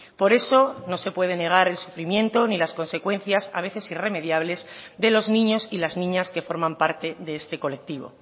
por eso no se puede negar el sufrimiento ni las consecuencias a veces irremediables de los niños y las niñas que forman parte de este colectivo